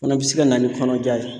Fana bɛ se ka na ni kɔnɔja ye.